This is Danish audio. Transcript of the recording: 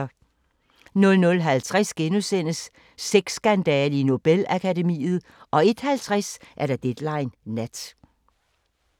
00:50: Sexskandale i Nobel-akademiet * 01:50: Deadline Nat